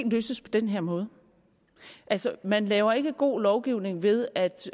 løses på den her måde altså man laver ikke god lovgivning ved at